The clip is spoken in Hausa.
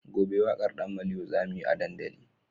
Gobe wakar dan maliyo zamuyi a dandali